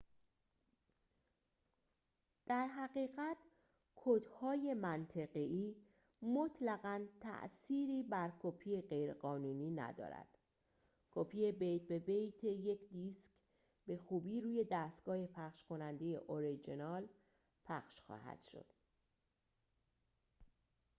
در حقیقت کدهای منطقه‌ای مطلقاً تأثیری بر کپی غیرقانونی ندارد کپی بیت به بیت یک دیسک به خوبی روی دستگاه پخش‌کننده اورجینال پخش خواهد شد